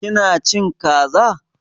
Ƙina cin Ƙaza?